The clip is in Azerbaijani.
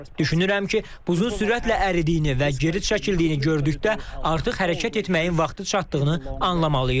Düşünürəm ki, buzun sürətlə əridiyini və geri çəkildiyini gördükdə artıq hərəkət etməyin vaxtı çatdığını anlamalıyıq.